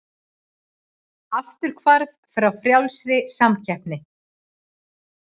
Afturhvarf frá frjálsri samkeppni